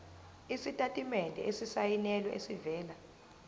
isitatimende esisayinelwe esivela